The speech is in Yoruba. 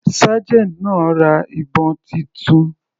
Sergeant náà ra ìbọn titun.